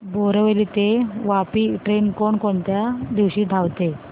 बोरिवली ते वापी ट्रेन कोण कोणत्या दिवशी धावते